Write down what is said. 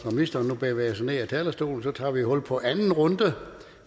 når ministeren nu bevæger sig ned fra talerstolen tager vi hul på anden runde